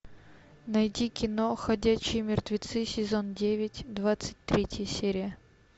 найти кино ходячие мертвецы сезон девять двадцать третья серия